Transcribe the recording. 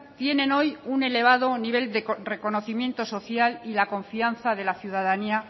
tienen hoy un elevado nivel de reconocimiento social y la confianza de la ciudadanía